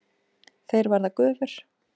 Þeir verða gufur.